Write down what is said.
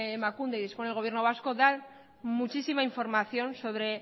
emakunde y dispone el gobierno vasco da muchísima información sobre